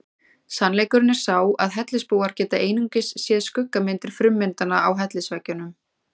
Sannleikurinn er sá að hellisbúar geta einungis séð skuggamyndir frummyndanna á hellisveggjunum.